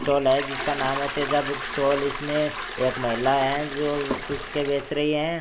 Stall है जिसका नाम है तेजा बुक स्टॉल इसमें एक महिला है जो पुस्तकें बेंच रही है।